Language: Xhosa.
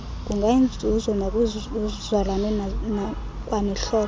kungayinzuzo nakwizizalwane kwanezihlobo